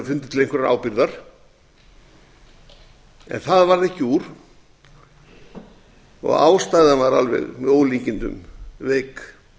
til einhverrar ábyrgðar en það varð ekki úr og ástæðan var alveg með ólíkindum veik